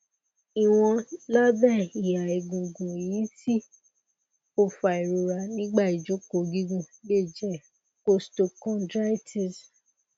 iwọn labẹ iha egungun eyiti o fa irora nigba ijoko gigun le jẹ costochondritis